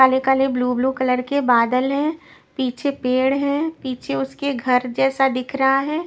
काले काले blue blue colour के बादल हैं पीछे पेड़ है पीछे उसके घर जैसा दिख रहा है।